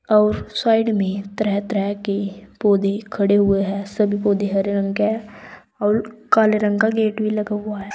और साइड में तरह तरह के पौधे खड़े हुए हैं सभी पौधे हरे रंग के हैं और काले रंग का गेट भी लगा हुआ है।